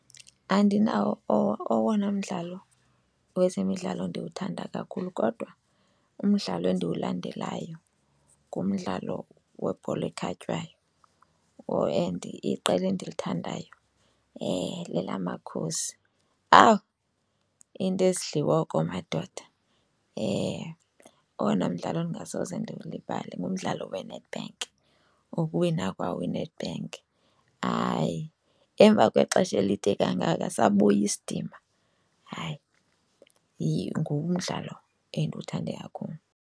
Andinawo owona mdlalo wezemidlalo ndiwuthanda kakhulu kodwa umdlalo endiwulandelayo ngumdlalo webhola ekhatywayo and iqela endiluthandayo lelaMakhosi. Awu, into ezidliwa oko madoda! Owona mdlalo ndingasoze ndiwulibale ngumdlalo weNedbank, wokuwina kwawo iNedbank. Hayi, emva kwexesha elide kangaka sabuya isidima, hayi ngumdlalo endiwuthande kakhulu.